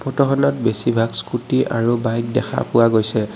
ফটোখনত বেছিভাগ স্কুটী আৰু বাইক দেখা পোৱা গৈছে।